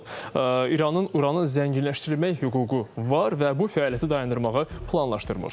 İranın uranın zənginləşdirilmək hüququ var və bu fəaliyyəti dayandırmağı planlaşdırmır.